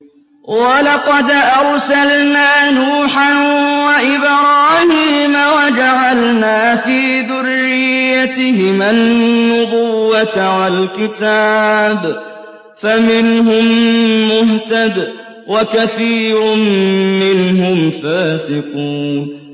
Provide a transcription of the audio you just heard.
وَلَقَدْ أَرْسَلْنَا نُوحًا وَإِبْرَاهِيمَ وَجَعَلْنَا فِي ذُرِّيَّتِهِمَا النُّبُوَّةَ وَالْكِتَابَ ۖ فَمِنْهُم مُّهْتَدٍ ۖ وَكَثِيرٌ مِّنْهُمْ فَاسِقُونَ